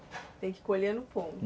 Tem que colher no ponto.